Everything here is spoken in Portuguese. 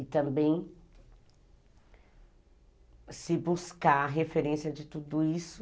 E também se buscar referência de tudo isso